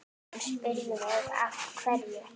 Hún spurði mig af hverju?